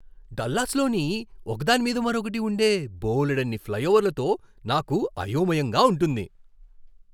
డల్లాస్లోని ఒకదాని మీద మరొకటి ఉండే బోలెడన్ని ఫ్లైఓవర్లతో నాకు అయోమయంగా ఉంటుంది.